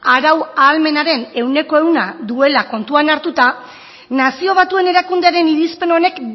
arau ahalmenaren cien por ciento duela kontuan hartuta nazio batuen erakundearen irizpen honek